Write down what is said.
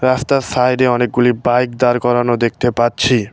রাস্তার সাইডে অনেকগুলি বাইক দাঁড় করানো দেখতে পাচ্ছি।